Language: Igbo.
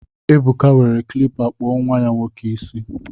Ebuka were klịppa kpụọ nnwa ya nwoke isi